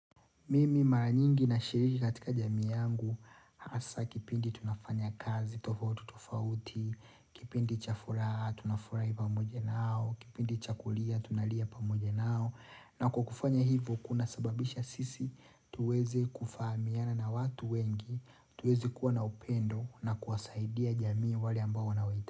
Mimi mara nyingi nashiriki katika jamii yangu hasa kipindi tunafanya kazi, tofauti, tofauti, kipindi cha furaha, tunafurahi pamoja nao, kipindi cha kulia, tunalia pamoja nao, na kwa kukufanya hivo kuna sababisha sisi tuweze kufahamiana na watu wengi, tuweze kuwa na upendo na kuwasaidia jamii wale ambao wanaohitaji.